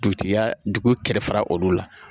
Dugutigi yaa dugu kɛrɛfɛ olu la